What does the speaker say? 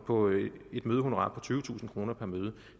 på et mødehonorar på tyvetusind kroner per møde